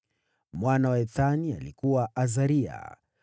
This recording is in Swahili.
Mwana wa Ethani alikuwa: Azariya.